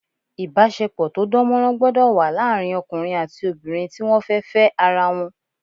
Ìbáṣepọ̀ tó dánmọ́nrán gbọ́dọ̀ wà láàrin ọkùnrin àti obìnrin tí wọ́n fẹ́ Fẹ́ ara wọn